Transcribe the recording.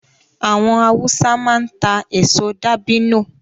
Àwọn Hausa máa ń ta èso dabino